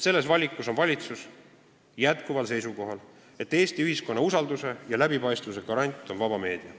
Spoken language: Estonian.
Valitsus on jätkuvalt seisukohal, et Eesti ühiskonna usalduse ja läbipaistvuse garant on vaba meedia.